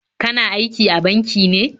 Kana aiki a banki ne?